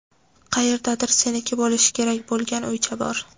Qayerdadir seniki bo‘lishi kerak bo‘lgan uycha bor.